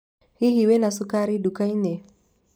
Hihi wĩna cukari nduka-inĩ?